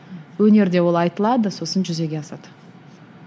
өнерде ол айтылады сосын жүзеге асады